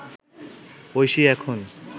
ঐশী এখন